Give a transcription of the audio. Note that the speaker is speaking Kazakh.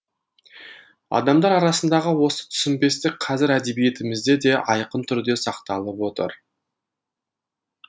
адамдар арасындағы осы түсінбестік қазір әдебиетімізде де айқын түрде сақталып отыр